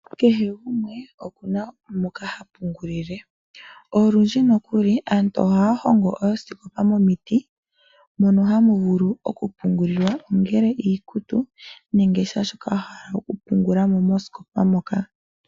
Kehe gumwe okuna moka ha pungulile. Olundji nokuli aantu ohaya hongo oosikopa momiti mono hamu vulu okupungulilwa ongele iikutu nenge kehe shoka wa hala okupungula mo moosikopa moka.